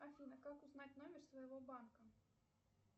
афина как узнать номер своего банка